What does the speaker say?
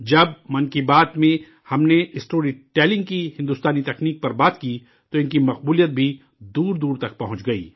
جب 'من کی بات' میں ہم نے اسٹوری ٹیلنگ کی ہندوستانی مہارت پر بات کی، تو ان کی شہرت بھی دور دور تک پہنچ گئی